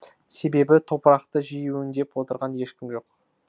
себебі топырақты жиі өңдеп отырған ешкім жоқ